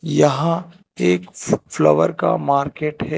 यहां एक फ्लावर का मार्केट है।